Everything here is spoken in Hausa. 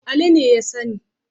Ali ne ya sani.